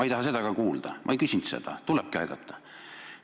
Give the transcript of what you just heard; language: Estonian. Tulebki aidata, aga ma ei taha ka seda kuulda, ma ei küsinud seda.